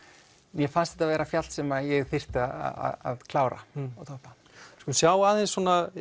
mér fannst þetta vera fjall sem ég þyrfti að klára við skulum sjá aðeins